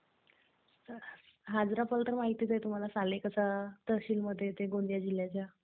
Hajra fall तर माहितीच आहे तुम्हाला, सालेकसा तहसीलमध्ये येते, गोंदिया जिल्ह्याच्या.